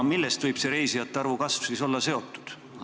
Millest võib see reisijate arvu kasv siis olla tingitud?